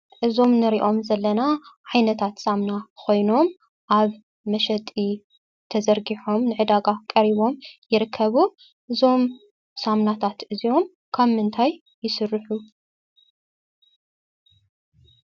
እዚአም እንሪአም ዘለና ዓይነታት ሳሙና ኮይኖም አብ መሸጢ ተዘርጊሖም ንዕድጋ ቀሪቦም ይርከቡ እዚኦም ሳሙናታት ካብ ምንታይ ይስርሑ ?